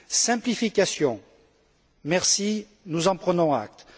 Simplification, merci, nous en prenons acte.